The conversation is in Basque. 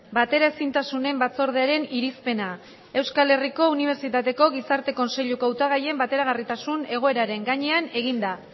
bateraezintasunen batzordearen irizpena euskal herriko unibertsitateko gizarte kontseiluko hautagaien bateragarritasun egoeraren gainean eginda